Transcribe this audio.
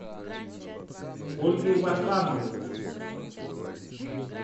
ольгой варламовой